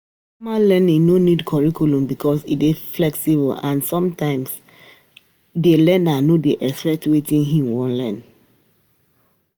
Informal learning no need curriculum because e dey flexible and sometimes di learner no dey expect wetin e wan learn